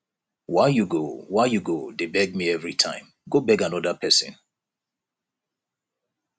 why you go why you go dey beg me everytime go beg another person